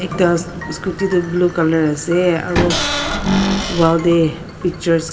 ekta scooty tu blue colour ase aro wall tae picture .